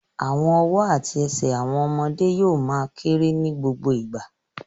Àwọn ọwọ́ àti ẹsẹ̀ àwọn ọmọdé yóò ma kérè ní gbogbo ìgbà